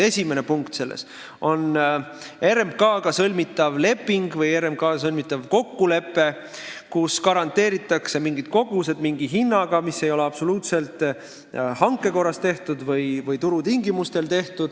Esimene punkt selles on RMK-ga sõlmitav leping või kokkulepe, kus garanteeritakse mingid kogused mingi hinnaga, kusjuures seda ei tehta absoluutselt hankekorras või turutingimustel.